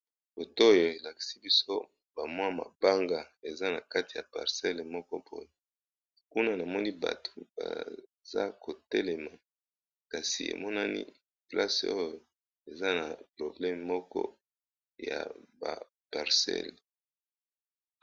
boto oyo elakisi biso bamwa mabanga eza na kati ya parcelles moko poye kuna na moni bato baza kotelema kasi emonani place oyo eza na probleme moko ya ba parcelle